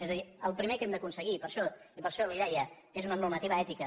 és a dir el primer que hem d’aconseguir i per això li ho deia és una normativa ètica